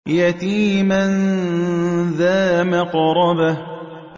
يَتِيمًا ذَا مَقْرَبَةٍ